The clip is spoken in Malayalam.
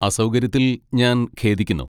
അസൗകര്യത്തിൽ ഞാൻ ഖേദിക്കുന്നു.